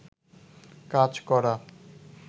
কাজ করা